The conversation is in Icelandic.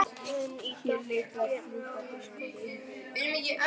En í dag er enginn Noregskonungur í salnum.